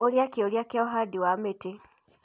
Ũria kĩũria kĩa ũhandi wa mĩtĩ.